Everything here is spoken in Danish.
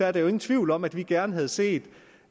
er der jo ingen tvivl om at vi gerne havde set